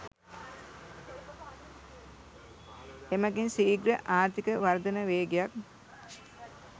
එමගින් සීග්‍ර ආර්ථික වර්ධන වේගයක්